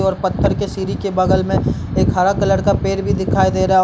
और पत्थर के सीढ़ी के बगल में एक हरा कलर का पेड़ भी दिखाई दे रहा --